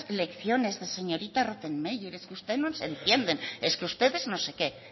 lecciones de señorita rottenmeier que usted no se entienden es que ustedes no sé qué